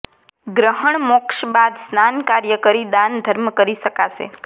ગ્રહણ મોક્ષ બાદ સ્નાન કાર્ય કરી દાન ધર્મ કરી શકાશે